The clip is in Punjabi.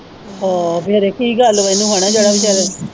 ਹੋ ਫਿਰ ਇਹ ਕੀ ਗੱਲ ਵਾ ਇਹਨੂੰ ਹੈਨਾ ਜਿਹੜਾ ਵਿਚਾਰਾ।